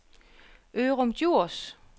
Ørum Djurs